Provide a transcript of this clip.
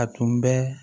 A tun bɛ